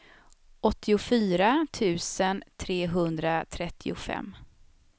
åttiofyra tusen trehundratrettiofem